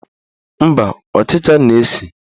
Mba, ọchịcha na-esi